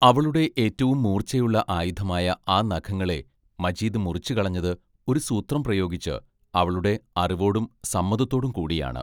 അവളുടെ ഏറ്റവും മൂർച്ചയുള്ള ആയുധമായ ആ നഖങ്ങളെ മജീദ് മുറിച്ചുകളഞ്ഞത് ഒരു സൂത്രം പ്രയോഗിച്ച് അവളുടെ അറിവോടും സമ്മതത്തോടും കൂടിയാണ്.